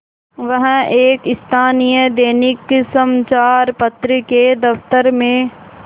वह एक स्थानीय दैनिक समचार पत्र के दफ्तर में